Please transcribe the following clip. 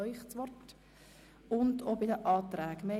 Zusätzlich haben wir auch Anträge auf der separaten Liste.